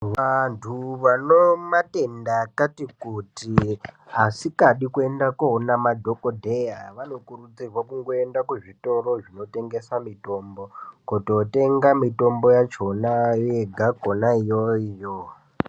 Vandu vanematenda akati kuti asikadi koenda koona madhokodheya vanokurudzirwe kungoenda kuzvitoro zvinotengesa mitombo kototenga mitombo yachona yegakona iyoyo .